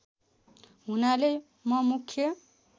हुनाले म मुख्य